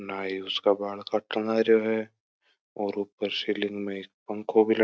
नाइ उसका बाल काट लागरो और ऊपर सीलिंग में एक पंखो भी लटको है।